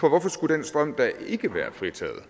hvorfor skulle den strøm ikke være fritaget